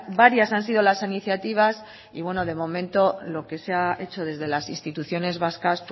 varias han sido las iniciativas y de momento lo que se ha hecho desde las instituciones vascas